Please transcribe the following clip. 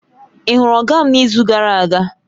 Ị hụrụ Oga m n'izu gara aga?